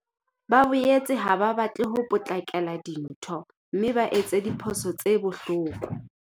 Ba boetse ha ba batle ho potlakela dintho mme ba etse diphoso tse bohloko.